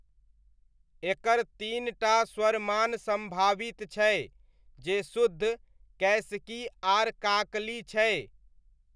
एकर तीन टा स्वरमान सम्भावित छै, जे शुद्ध, कैसिकी आर काकली छै।